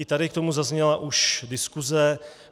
I tady k tomu zazněla už diskuse.